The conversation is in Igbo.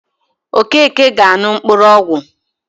Okeke ga-aṅụ mkpụrụọgwọ